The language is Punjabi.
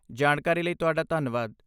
ਜਾਣਕਾਰੀ ਲਈ ਤੁਹਾਡਾ ਧੰਨਵਾਦ।